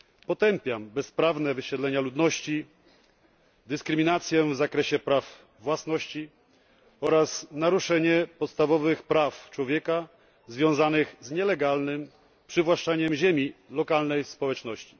Potępiam bezprawne wysiedlenia ludności, dyskryminację w zakresie praw własności oraz naruszenie podstawowych praw człowieka związanych z nielegalnym przywłaszczaniem ziemi lokalnej społeczności.